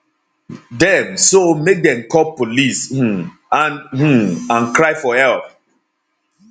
dem so make dem call police um and um and cry for help